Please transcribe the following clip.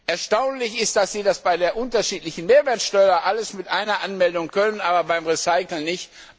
Erstaunlich ist, dass Sie das bei der unterschiedlichen Mehrwertsteuer alles mit einer Anmeldung können, aber beim Recyceln nicht.